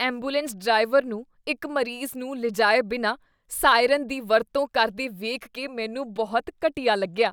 Ambulance driver ਨੂੰ ਇੱਕ ਮਰੀਜ਼ ਨੂੰ ਲਿਜਾਏ ਬਿਨਾਂ ਸਾਇਰਨ ਦੀ ਵਰਤੋਂ ਕਰਦੇ ਵੇਖ ਕੇ ਮੈਨੂੰ ਬਹੁਤ ਘਟੀਆ ਲੱਗਿਆ।